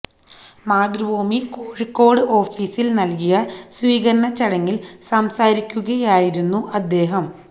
മാതൃഭൂമി കോഴിക്കോട് ഓഫീസില് നല്കിയ സ്വീകരണ ചടങ്ങില് സംസാരിക്കുകയായിരുന്നു അദ്ദേഹം